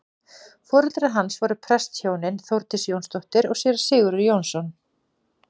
foreldrar hans voru prestshjónin þórdís jónsdóttir og séra sigurður jónsson